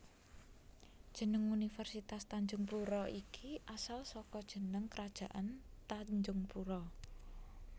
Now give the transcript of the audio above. Jeneng Universitas Tanjungpura iki asal saka jeneng Krajaan Tanjungpura